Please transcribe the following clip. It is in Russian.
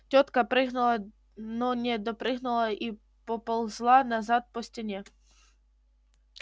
тётка прыгнула но не допрыгнула и поползла назад по стене